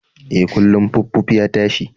E, kullun puffpuff ya tashi.